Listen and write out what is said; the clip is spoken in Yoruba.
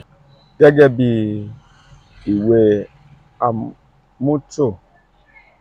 gẹgẹbi iwe atumo ede merriam webster iṣeduro jẹ idaniloju fun mimu ipo kan ṣẹ